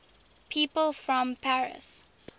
people from paris